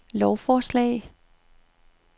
lovforslag